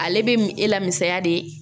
Ale be m e la misaya de ye